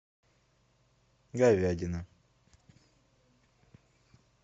говядина